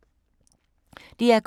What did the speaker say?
DR K